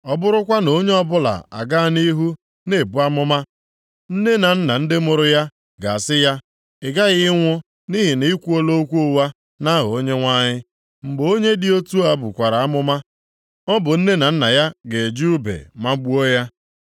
Ọ bụrụkwa na onye ọbụla a ga nʼihu na-ebu amụma, nne na nna ndị mụrụ ya ga-asị ya, ‘Ị ghaghị ịnwụ nʼihi na i kwuola okwu ụgha nʼaha Onyenwe anyị.’ Mgbe onye dị otu a bukwara amụma, ọ bụ nne na nna ya ga-eji ùbe magbuo ya.